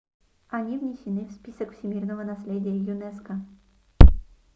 они внесены в список всемирного наследия юнеско